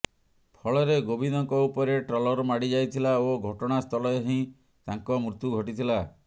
ଫଳରେ ଗୋବିନ୍ଦଙ୍କ ଉପରେ ଟ୍ରଲର୍ ମାଡ଼ି ଯାଇଥିଲା ଓ ଘଟଣାସ୍ଥଳରେ ହିଁ ତାଙ୍କ ମୃତ୍ୟୁ ଘଟିଥିଲା